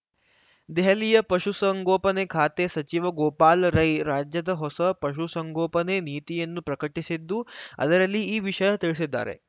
ದೆಹಲಿಯ ಪಶುಸಂಗೋಪನೆ ಖಾತೆ ಸಚಿವ ಗೋಪಾಲ್‌ ರೈ ರಾಜ್ಯದ ಹೊಸ ಪಶುಸಂಗೋಪನೆ ನೀತಿಯನ್ನು ಪ್ರಕಟಿಸಿದ್ದು ಅದರಲ್ಲಿ ಈ ವಿಷಯ ತಿಳಿಸಿದ್ದಾರೆ